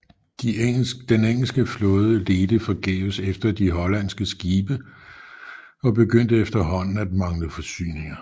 Den engelske flåde ledte forgæves efter de hollandske skibe og begyndte efterhånden at mangle forsyninger